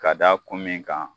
Ka da kun min kan